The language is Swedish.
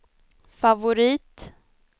favorit